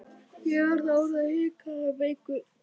Ég var þá orðinn hrikalega veikur.